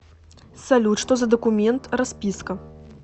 салют что за документ расписка